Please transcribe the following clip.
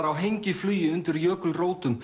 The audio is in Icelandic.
á hengiflugi undir jökulrótum